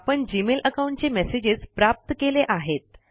आपण Gmail account चे messages प्राप्त केले आहेत